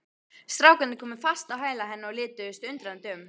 Strákarnir komu fast á hæla henni og lituðust undrandi um.